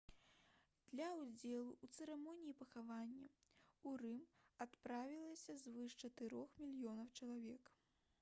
для ўдзелу ў цырымоніі пахавання ў рым адправілася звыш чатырох мільёнаў чалавек